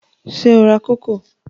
Ṣé o ra kókò?